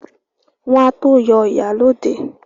Wọ́n á tó yọ ìyálóde